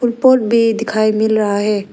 Pot भी दिखाई मिल रहा है।